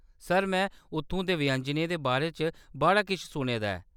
Sir, में उत्थूं दे व्यंजनें दे बारे च बड़ा किश सुने दा ऐ।